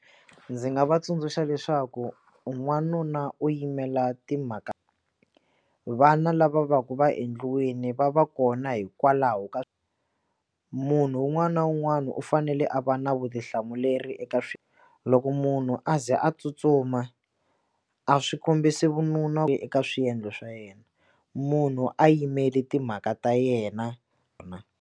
Ndzi nga va tsundzuxa leswaku n'wanuna u yimela timhaka vana lava va ku va endliwini va va kona hikwalaho ka munhu un'wana na un'wana u fanele a va na vutihlamuleri eka loko munhu a ze a tsutsuma a swi kombisi vununa eka swiendlo swa yena munhu a yimeli timhaka ta yena.